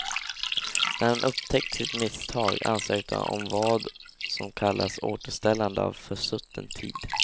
När han upptäckt sitt misstag ansökte han om vad som kallas återställande av försutten tid.